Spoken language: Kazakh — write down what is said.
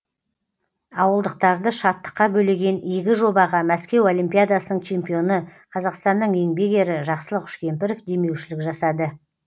ауылдықтарды шаттыққа бөлеген игі жобаға мәскеу олимпиадасының чемпионы қазақстанның еңбек ері жақсылық үшкемпіров демеушілік жасады